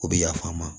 O bɛ yafa an ma